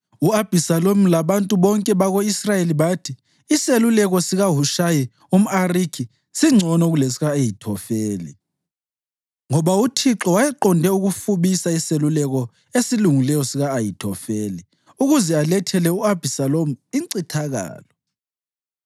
U-Abhisalomu labantu bonke bako-Israyeli bathi, “Iseluleko sikaHushayi umʼArikhi singcono kulesika-Ahithofeli.” Ngoba uThixo wayeqonde ukufubisa iseluleko esilungileyo sika-Ahithofeli ukuze alethele u-Abhisalomu incithakalo.